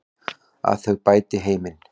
Að þau bæti heiminn.